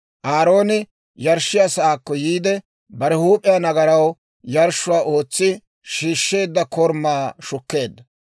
Aarooni yarshshiyaa saakko yiide, bare huup'e nagaraw yarshshuwaa ootsi shiishsheedda korumaa shukkeedda.